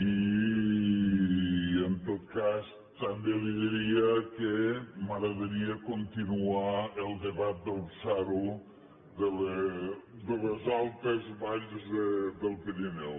i en tot cas també li diria que m’agradaria continuar el debat del psaru de les altes valls del pirineu